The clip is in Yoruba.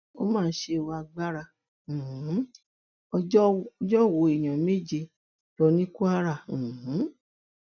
ó máa ṣe ọ agbára um ọjọ wọ èèyàn méje lọ ní kwara um